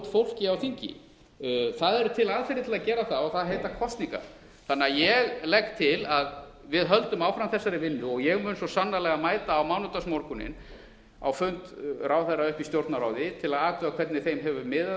fólki á þingi það eru til aðferðir til að gera það og þær heita kosningar þannig að ég legg til að við höldum áfram þessari vinnu og ég mun svo sannarlega mæta á mánudagsmorgunn á fund ráðherra uppi í stjórnarráði til að athuga hvernig þeim hefur miðað